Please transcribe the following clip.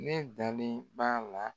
Ne dalen b'a la